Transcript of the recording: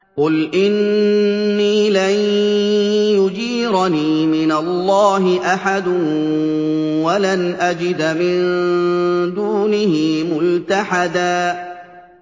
قُلْ إِنِّي لَن يُجِيرَنِي مِنَ اللَّهِ أَحَدٌ وَلَنْ أَجِدَ مِن دُونِهِ مُلْتَحَدًا